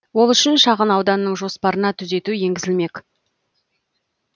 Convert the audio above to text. ол үшін шағын ауданның жоспарына түзету енгізілемек